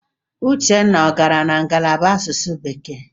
Uchenna ọ gara na ngalaba asụsụ bekee?